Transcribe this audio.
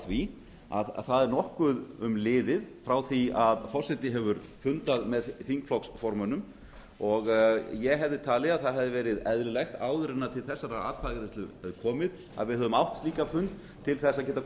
því að það er nokkuð um liðið frá því að forseti hefur fundað með þingflokksformönnum og ég hefði talið að eðlilegt hefði verið áður en til þessarar atkvæðagreiðslu kæmi að við hefðum átt slíkan fund til að geta